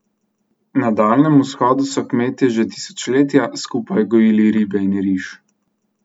Na Daljnem vzhodu so kmetje že tisočletja skupaj gojili ribe in riž.